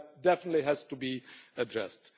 All that definitely has to be addressed.